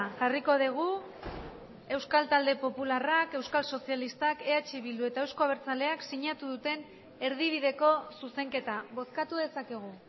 jarriko dugu euskal talde popularrak euskal sozialistak eh bildu eta euzko abertzaleak sinatu duten erdibideko zuzenketa bozkatu dezakegu